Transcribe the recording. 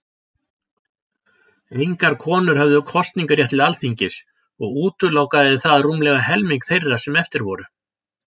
Engar konur höfðu kosningarétt til Alþingis, og útilokaði það rúmlega helming þeirra sem eftir voru.